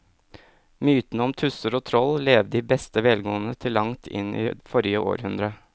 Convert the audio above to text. Mytene om tusser og troll levde i beste velgående til langt inn i forrige århundre.